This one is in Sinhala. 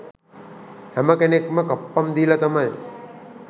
හැම කෙනෙක්ම කප්පම් දීල තමයි